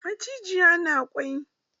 Macijiya na kwai?